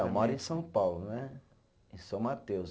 Eu moro em São Paulo né, em São Mateus.